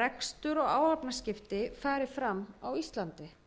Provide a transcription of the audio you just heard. rekstur og áhafnaskipti fari fram á íslandi